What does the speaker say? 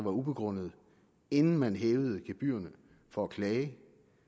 ubegrundede inden man hæver gebyrerne for at klage